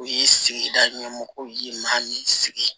U ye sigida ɲɛmɔgɔw y'i maa min sigi